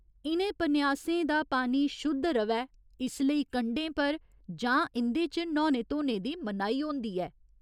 इ'नें पन्यासें दा पानी शुद्ध र'वै इस लेई कंढें पर जां इं'दे च न्हौने धोने दी मनाही होंदी ऐ।